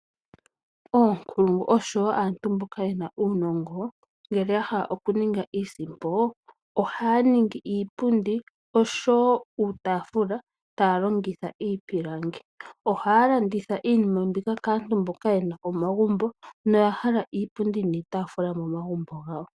Oonkulungu oshowo aantu mboka yena uunongo ngele yahala oku ninga iisimpo ohaya ningi iipundi oshowo uutafula taya longitha iipilangi. Ohaya landitha iinima mbika kaa tu mboka yena omagumbo noyahala iipundi niitaafula momagumbo gawo.